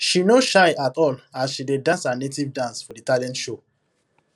she no shy at all as she dey dance her native dance for the talent show